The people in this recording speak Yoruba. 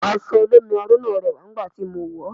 Aṣọ olómi aró náà rẹwà nígbà tí mo wọ̀ ọ́